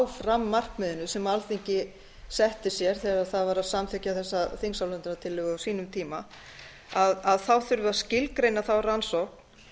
fram markmiðinu sem alþingi setti sér þegar það var að samþykkja þessa þingsályktunartillögu á sínum tíma þá þurfi að skilgreina þá rannsókn